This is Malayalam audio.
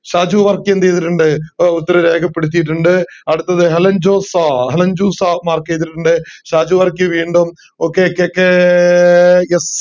സാജു വർക്കി എന്ത് ചെയ്തിറ്റുണ്ട് അടുത്ത് ഹെലൻ ജോസ ഹെലൻ ജൂസ mark ചെയ്തിട്ടുണ്ട് സാജു വർക്കി വീണ്ടും okayKKF